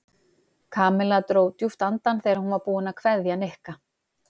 Kamilla dró djúpt andann þegar hún var búin að kveðja Nikka.